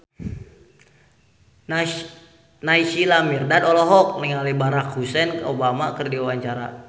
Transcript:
Naysila Mirdad olohok ningali Barack Hussein Obama keur diwawancara